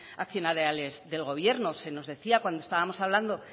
accionariales del gobierno se nos decía cuando estábamos hablando